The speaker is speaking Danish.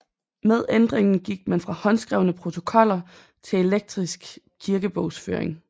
Med ændringen gik man fra håndskrevne protokoller til elektronisk kirkebogsføring